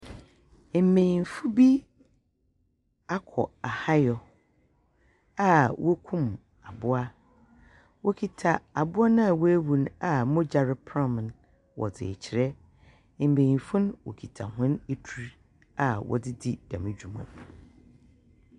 Mbenyifo bi akɔ ahayɔ a wokum aboa, Wokita aboa a wɔawu a mbogya repram no. Wɔdze rekyerɛ. Mbenyinfo kita hɔn adur a wɔdze di dɛm dwuma.